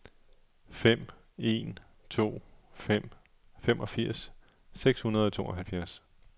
fem en to fem femogfirs seks hundrede og tooghalvfjerds